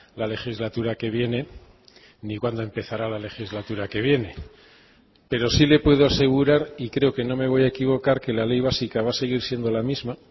la legislatura que viene ni cuándo empezará la legislatura que viene pero sí le puedo asegurar y creo que no me voy a equivocar que la ley básica va a seguir siendo la misma